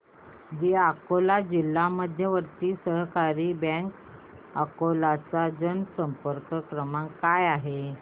दि अकोला जिल्हा मध्यवर्ती सहकारी बँक अकोला चा जनसंपर्क क्रमांक काय आहे